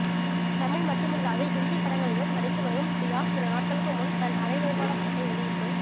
தமிழ் மட்டுமில்லாது ஹிந்திப் படங்களிலும் நடித்து வரும் பியா சில நாட்களுக்கு முன் தன் அரை நிர்வாண படத்தை வெளியிட்டு